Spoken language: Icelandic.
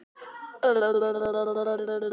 Rétt og hún klappaði honum á hnéð.